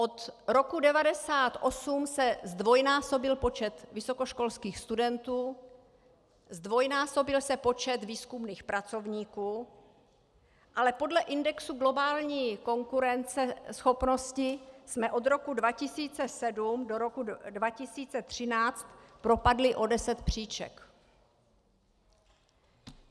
Od roku 1998 se zdvojnásobil počet vysokoškolských studentů, zdvojnásobil se počet výzkumných pracovníků, ale podle indexu globální konkurenceschopnosti jsme od roku 2007 do roku 2013 propadli o deset příček.